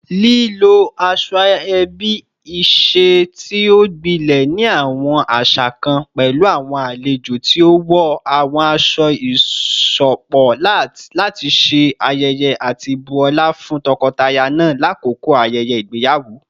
Lilo asoebi, iṣe ti o gbilẹ ni awọn aṣa kan, pẹlu awọn alejo ti o wọ awọn aṣọ iṣọpọ lati ṣe ayẹyẹ ati bu ọla fun tọkọtaya naa lakoko ayẹyẹ igbeyawo